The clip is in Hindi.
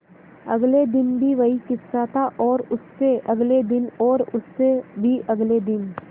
अगले दिन भी वही किस्सा था और उससे अगले दिन और उससे भी अगले दिन